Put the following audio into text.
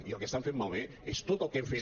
i el que estan fent malbé és tot el que hem fet